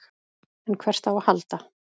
En hvert á að halda?